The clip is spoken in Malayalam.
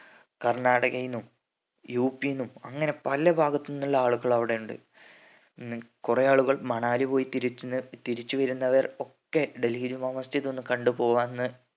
കർണാടകയിന്നും യുപിന്നും അങ്ങനെ പല ഭാഗത്തുന്നും ഉള്ള ആളുകൾ അവ്ടെ ഇണ്ട് ഉം കൊറേ ആളുകൾ മണാലി പോയി തിരിച്ചു തിരിച്ച് വരുന്നവർ ഒക്കെ ഡൽഹി ജുമാ മസ്ജിദ് ഒന്ന് കണ്ട് പോവാന്ന്